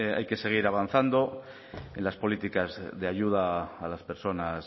hay que seguir avanzando en las políticas de ayuda a las personas